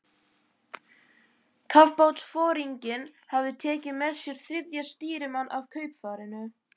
Kafbátsforinginn hafði tekið með sér þriðja stýrimann af kaupfarinu